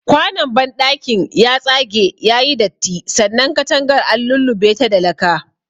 Kwanon banɗakin ya tsage yayi datti sannan katangar an lullubeta da laka.